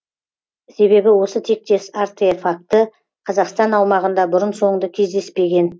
себебі осы тектес артефакті қазақстан аумағында бұрын соңды кездеспеген